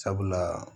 Sabula